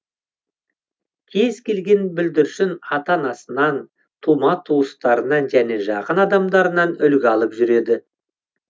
кез келген бүлдіршін ата анасынан тума туыстарынан және жақын адамдарынан үлгі алып жүреді